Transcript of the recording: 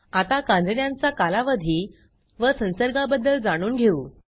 आता कांजिण्यांचा कालावधी व संसर्गाबद्दल जाणून घेऊ